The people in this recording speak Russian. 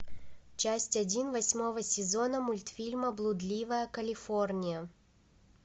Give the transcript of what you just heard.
часть один восьмого сезона мультфильма блудливая калифорния